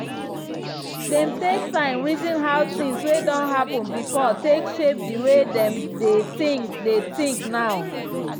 dem take time reason how things wey don happen before take shape the way dem dey think dey think now.